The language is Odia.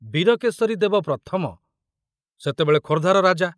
ବୀରକେଶରୀ ଦେବ ପ୍ରଥମ ସେତେବେଳେ ଖୋର୍ଦ୍ଧାର ରାଜା।